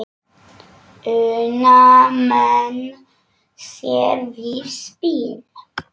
Una menn sér við spil.